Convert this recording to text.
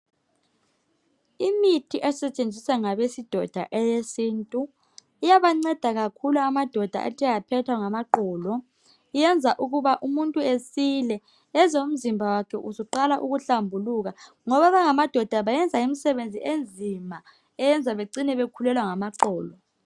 Imithi esetshenziswa ngabesidoda eyesintu iyabanceda kakhulu amadoda athe aphathwa ngamaqolo iyenza ukuba umuntu esile ezwe umzimba wakhe usuqala ukuhlambuluka ngoba abangamadoda bayenza imisebenzi enzima eyenza becine bekhulelwa ngamaqolo.